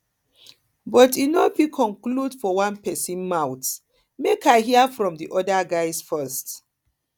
but i no fit conclude for one pesin mouth make i hear from di other guy first